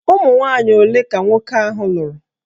Ụmụnwanyị ole ka nwoke ahụ lụrụ?